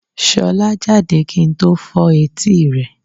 Sọlá jáde kí n tó fọ́ etí rẹ̀.